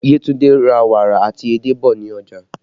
Yetunde ra wàrà àti edé bọ̀ ní ọjà